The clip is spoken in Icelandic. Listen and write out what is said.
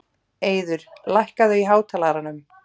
Eiður, lækkaðu í hátalaranum.